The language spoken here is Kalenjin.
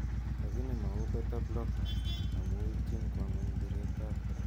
lakini mauu beta blockers amu ipcin kwa ngony bireet ab korotik